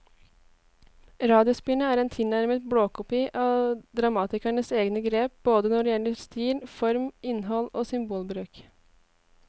Radiospillet er en tilnærmet blåkopi av dramatikerens egne grep både når det gjelder stil, form, innhold og symbolbruk.